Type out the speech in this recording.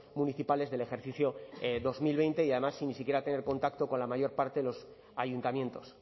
municipales del ejercicio dos mil veinte y además sin ni siquiera tener contacto con la mayor parte de los ayuntamientos